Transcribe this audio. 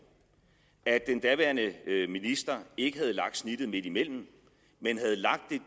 at den daværende minister ikke havde lagt snittet midtimellem men havde lagt